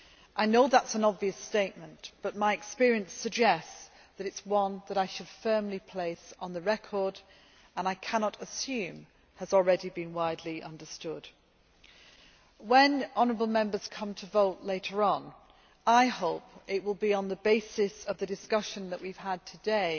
I know that is an obvious statement, but my experience suggests that it is one that I should firmly place on the record and I cannot assume has already been widely understood. When honourable Members come to vote later on, I hope it will be on the basis of the discussion that we have had today